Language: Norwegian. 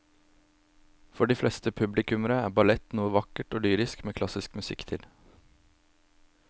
For de fleste publikummere er ballett noe vakkert og lyrisk med klassisk musikk til.